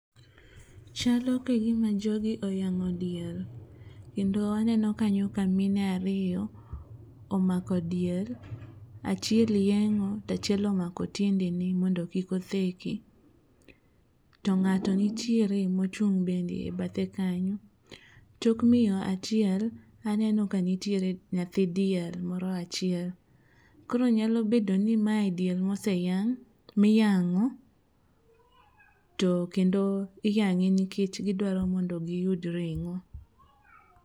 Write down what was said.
Chalo kagima jogi oyang'o diel kendo aneno kanyo ka mine ariyo omako diel achiel yeng'o tachiel omako tiendene mondo kik otheki to ng'ato nitiere mochung' bende e bathe kanyo. Tok miyo chiel aneno kanitiere nyathi diel moro achiel. Koro nyalo bedo ni mae diel miyang'o to kendo iyang'e nikech gidwaro mondo giyud ring'o.